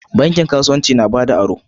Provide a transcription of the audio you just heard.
Bankin kasuwanci na bada aro.